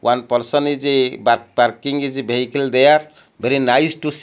one person is parking is behicle there very nice to see--